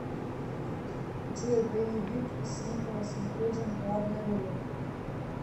джой боевик с николосам кейджом в главной роли